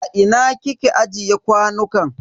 A ina kike ajiye kwanukan?